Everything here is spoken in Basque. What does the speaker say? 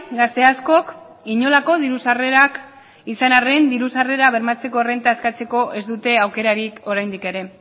gazte askok inolako diru sarrerak izan arrean diru sarrerak bermatzeko errenta eskatzeko ez dute aukerarik oraindik ere